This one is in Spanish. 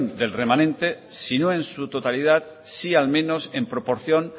del remanente si no en su totalidad sí al menos en proporción